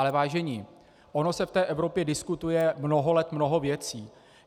Ale vážení, ono se v té Evropě diskutuje mnoho let mnoho věcí.